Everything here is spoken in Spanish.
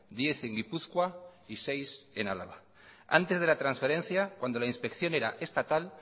diez en gipuzkoa y seis en álava antes de la transferencia cuando la inspección era estatal